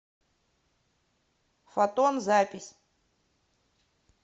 фотон запись